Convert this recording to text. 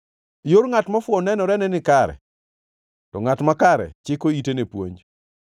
Yor ngʼat mofuwo nenorene ni nikare, to ngʼat makare chiko ite ne puonj.